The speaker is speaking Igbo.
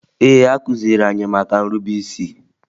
Ee, a kụziri anyị maka nrube isi